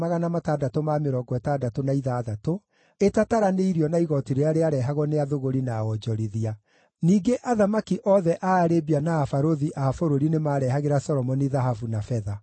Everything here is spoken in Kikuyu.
ĩtataranĩirio na igooti rĩrĩa rĩarehagwo nĩ athũgũri na onjorithia. Ningĩ athamaki othe a Arabia na abarũthi a bũrũri nĩmarehagĩra Solomoni thahabu na betha.